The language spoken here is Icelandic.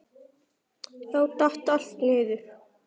Þá datt allt niður.